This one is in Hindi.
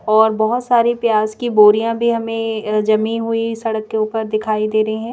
और बहुत सारी प्याज की बोरियां भी हमें अअजमी हुई सड़क के ऊपर दिखाई दे रही हैं।